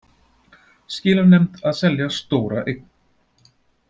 Skilanefnd að selja stóra eign